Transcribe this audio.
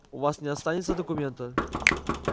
у вас не останется документа